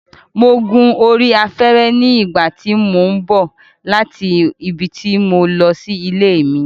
Mo gun orí afẹ́rẹ́ nígbà tí mò ń bọ̀ láti ibi tí mo lọ sí ilé mi